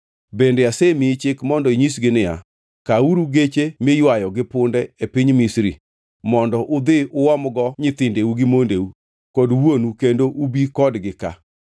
Bende asemiyi chik mondo inyisgi niya, “Kawuru geche miywayo gi punde e piny Misri mondo udhi uomgo nyithindeu gi mondeu kod wuonu kendo ubi kodgi ka.